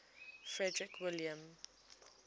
frederick william